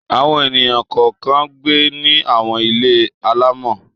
Àwọn ènìyàn kọ̀ọ̀kan ń gbé ní àwọn ilé alaámọ̀.